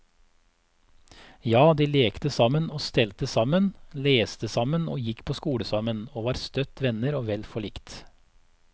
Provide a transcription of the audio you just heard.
Ja, de lekte sammen og stelte sammen, leste sammen og gikk på skole sammen, og var støtt venner og vel forlikt.